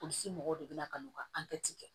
Polisi mɔgɔw de bɛ na ka n'u ka kɛ